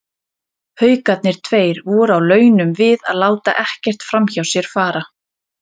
Haukarnir tveir voru á launum við að láta ekkert framhjá sér fara.